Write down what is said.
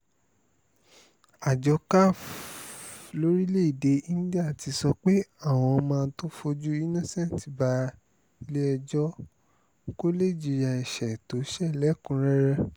àjọ caf lórílẹ̀‐èdè íńdíà ti sọ pé àwọn máa tóó fojú innocent balẹ̀-ẹjọ́ kó lè jìyà ẹ̀ṣẹ̀ tó ṣe lẹ́kùn-ún-rẹ́rẹ́